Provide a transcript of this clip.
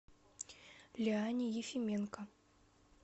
лиане ефименко